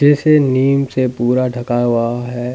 जैसे नीम से पूरा ढका हुआ है।